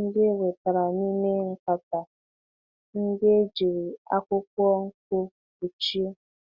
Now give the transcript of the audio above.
ndị e wetara n'ime nkata ndị e jiri akwụkwọ nkụ kpuchie.